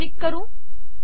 इथे क्लिक करु